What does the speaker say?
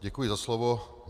Děkuji za slovo.